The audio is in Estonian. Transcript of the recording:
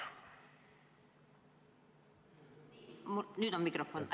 Kas nüüd on mikrofon?